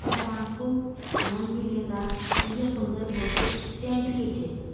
और डांस कु आनंद भी लिंदा ये सुन्दर फोटो टेंट की च।